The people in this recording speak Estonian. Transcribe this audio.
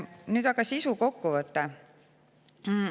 Nüüd aga sisukokkuvõte.